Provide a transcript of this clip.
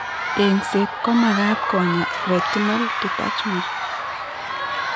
Eng'set ko magaat konyaa retinal detachment